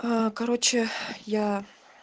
короче я